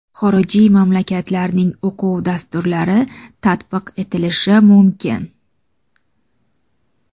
xorijiy mamlakatlarning o‘quv dasturlari tatbiq etilishi mumkin;.